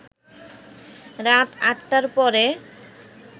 রাত ৪টার পরে